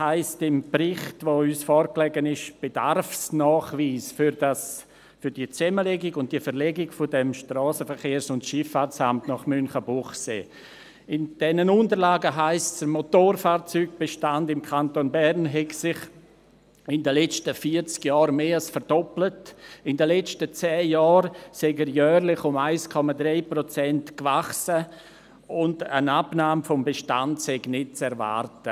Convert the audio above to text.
Im Bericht, der uns vorliegt, heisst es unter dem Bedarfsnachweis für die Zusammenlegung und die Verlegung des SVSA nach Münchenbuchsee, der Motorfahrzeugbestand im Kanton Bern habe sich in den vergangenen vierzig Jahren mehr als verdoppelt, in den letzten zehn Jahren sei er jährlich um 1,3 Prozent gewachsen, und eine Abnahme des Bestandes sei nicht zu erwarten.